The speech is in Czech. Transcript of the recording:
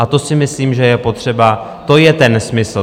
A to si myslím, že je potřeba, to je ten smysl.